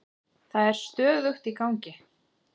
Það er stöðugt í gangi.